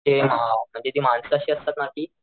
ते अ म्हणजे ती माणस अशी असतात ना,